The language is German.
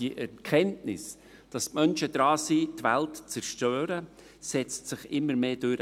Die Erkenntnis, dass die Menschen daran sind, die Welt zu zerstören, setzt sich immer mehr durch.